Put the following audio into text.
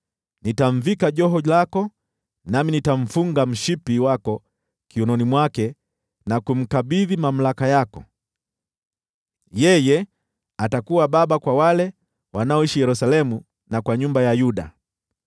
Nitamvika joho lako, nami nitamfunga mshipi wako kiunoni mwake, na kumkabidhi mamlaka yako. Yeye atakuwa baba kwa wale wanaoishi Yerusalemu na kwa nyumba ya Yuda.